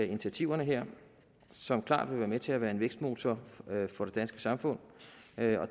initiativerne her som klart vil være med til at være en vækstmotor for det danske samfund